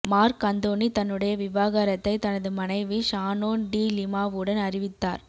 mark Anthony தன்னுடைய விவாகரத்தை தனது மனைவி ஷானோன் டி லிமாவுடன் அறிவித்தார்